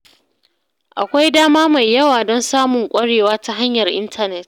Akwai dama mai yawa don samun ƙwarewa ta hanyar intanet.